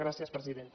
gràcies presidenta